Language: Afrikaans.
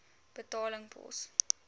betaling pos